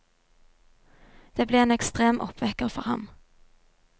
Det ble en ekstrem oppvekker for ham.